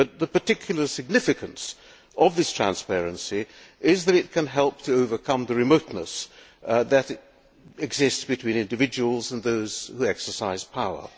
The particular significance of this transparency is that it can help to overcome the remoteness that exists between individuals and those who exercise power.